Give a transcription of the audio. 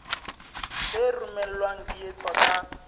tse romellwang di etswa ka